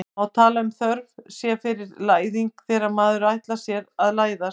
Má tala um þörf sé fyrir læðing þegar maður ætlar sér að læðast?